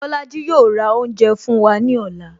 Bolaji yo ra oúnjẹ fún wa ní ọ̀la